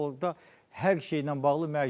Orda hər şeylə bağlı mərc gəlirlər.